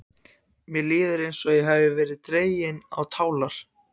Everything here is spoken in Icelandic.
Mér líður eins og ég hafi verið dregin á tálar.